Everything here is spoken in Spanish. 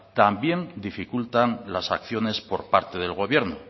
también dificultan las acciones por parte del gobierno